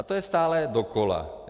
A to je stále dokola.